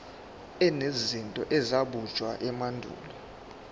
enezinto ezabunjwa emandulo